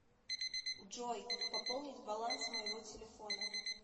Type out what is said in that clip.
джой пополнить баланс моего телефона